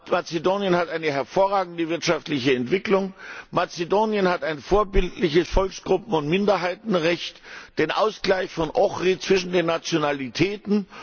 Mazedonien hat eine hervorragende wirtschaftliche Entwicklung. Mazedonien hat ein vorbildliches Volksgruppen und Minderheitenrecht, den Ausgleich von Ohrid zwischen den Nationalitäten.